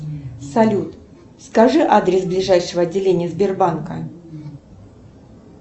салют скажи адрес ближайшего отделения сбербанка